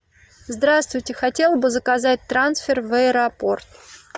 здравствуйте хотела бы заказать трансфер в аэропорт